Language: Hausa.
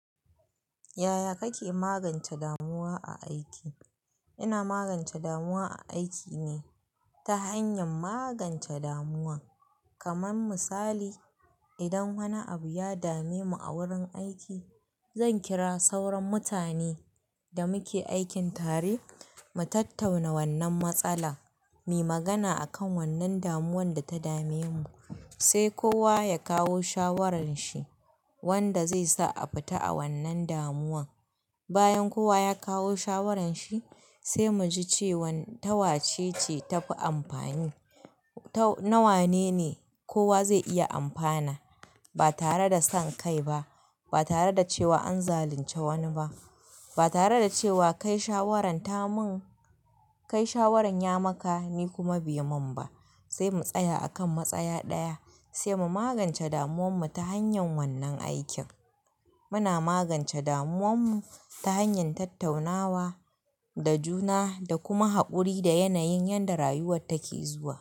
Yaya kake magance damuwa a aiki? Yaya kake magance damuwa a aiki? Kaman misali, idan wani abu ya dame mu a wurin aiki, zan kira sauran mutane da muke aikin tare mu tattauna wannan matsala, mu yi magana a kan wannan damuwar da ta dame mu, sai kowa ya kawo shawarar shi wanda zai sa a fita a wannan damuwa. Bayan kowa ya kawo shawarar shi sai mu ji cewan tawace ce ta fi amfani, ta na wane ne kowa zai iya amfana. Ba tare da son kai ba, ba tare da cewa an zalunce wani ba, ba tare da cewa kai shawarar ta mun, kai shawarar ya maka ni kuma bai mun ba. Sai mu tsaya a kan matsaya ɗaya sai mu magance damuwan mu ta hanyan wannan aikin. Muna magance damuwar mu ta hanyar tattaunawa da juna da kuma haƙuri da yanayin yadda rayuwa take zuwa.